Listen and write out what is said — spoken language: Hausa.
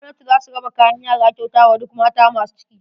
Gwamnati zata raba kayan yara kyauta wa duk mata masu ciki.